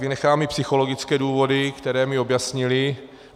Vynechám i psychologické důvody, které mi objasnili.